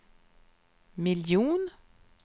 miljon